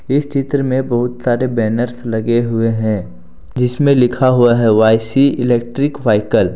इस चित्र में बहुत सारे बैनर्स लगे हुए हैं जिसमें लिखा हुआ है वाई_सी इलेक्ट्रिक व्हीकल ।